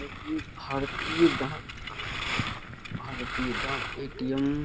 और ये भारतीय डाक भारतीय डाक ए.टी.एम.